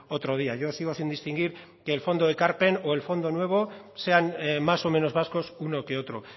otro día yo sigo sin distinguir que el fondo ekarpen o el fondo nuevo sean más o menos vascos uno que otro